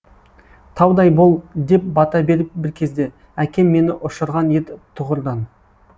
таудай бол деп бата беріп бір кезде әкем мені ұшырған ед тұғырдан